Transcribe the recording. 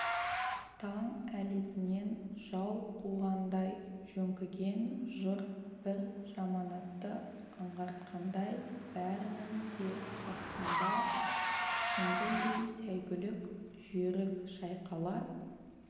таң әлетінен жау қуғандай жөңкіген жұрт бір жаманатты аңғартқандай бәрінің де астында сүмбілдей сәйгүлік жүйрік шайқала